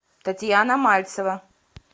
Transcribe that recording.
татьяна мальцева